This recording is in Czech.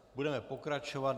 Budeme pokračovat.